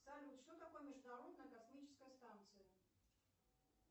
салют что такое международная космическая станция